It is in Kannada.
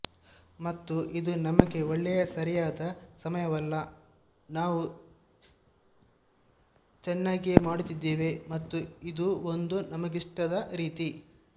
ಮತ್ತು ಇದು ನಮಗೆ ಒಳ್ಳೆಯ ಸರಿಯಾದ ಸಮಯವಲ್ಲ ನಾವು ಚನ್ನಾಗಿಯೇ ಮಾಡುತ್ತಿದ್ದೇವೆ ಮತ್ತು ಇದೂ ಒಂದು ನಮಗಿಷ್ಟದ ರೀತಿ